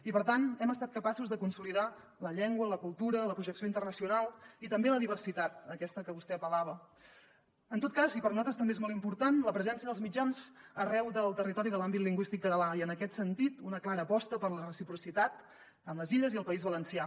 i per tant hem estat capaços de consolidar la llengua la cultura la projecció internacional i també la diversitat aquesta a què vostè apel·lava en tot cas i per nosaltres també és molt important la presència dels mitjans arreu del territori de l’àmbit lingüístic català i en aquest sentit una clara aposta per la reciprocitat amb les illes i el país valencià